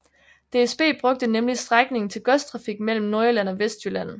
DSB brugte nemlig strækningen til godstrafik mellem Nordjylland og Vestjylland